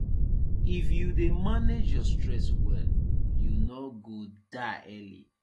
if you dey manage your stress well you no go die early